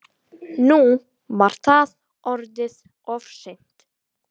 Nú var það orðið of seint.